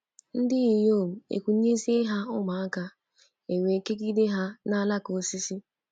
Ndị inyom ekunyezie ha ụmụaka, e wee kegide ha n’alaka osisi.